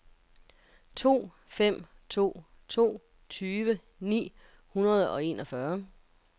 to fem to to tyve ni hundrede og enogfyrre